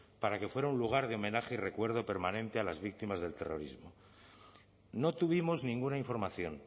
para que fuera un lugar de homenaje y recuerdo permanente a las víctimas del terrorismo no tuvimos ninguna información